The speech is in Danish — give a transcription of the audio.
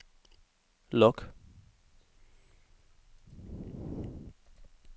log